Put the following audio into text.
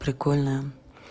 прикольная